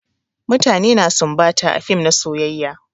Mutane na sumbata a fim na soyayya.